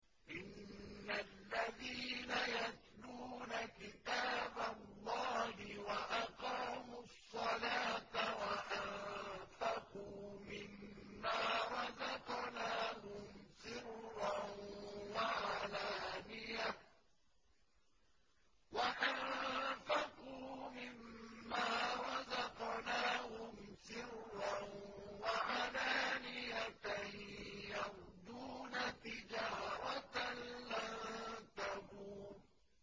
إِنَّ الَّذِينَ يَتْلُونَ كِتَابَ اللَّهِ وَأَقَامُوا الصَّلَاةَ وَأَنفَقُوا مِمَّا رَزَقْنَاهُمْ سِرًّا وَعَلَانِيَةً يَرْجُونَ تِجَارَةً لَّن تَبُورَ